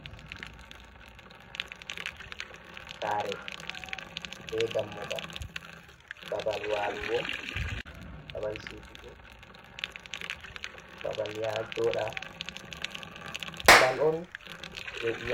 Saare be dammugal, babal waalugo, babal si'utugo, babal ya jooɗa, babal on je ɗum.